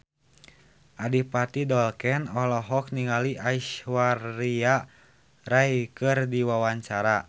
Adipati Dolken olohok ningali Aishwarya Rai keur diwawancara